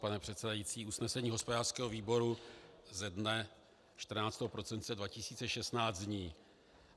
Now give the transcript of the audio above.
Pane předsedající, usnesení hospodářského výboru ze dne 14. prosince 2016 zní: